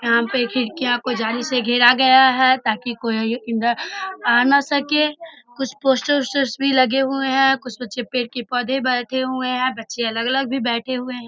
यहाँ पे खिडकियां को जाली से घेरा गया है ताकि कोई इधर आ न सके कुछ पोस्टर्स उस्टर्स भी लगे हुए हैं कुछ बच्चे पेड़ के पौधे बैठे हुए हैं कुछ बच्चे अलग-अलग भी बैठे हुए हैं।